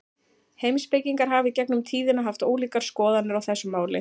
Heimspekingar hafa í gegnum tíðina haft ólíkar skoðanir á þessu máli.